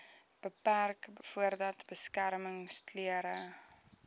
beperk voordat beskermingsklere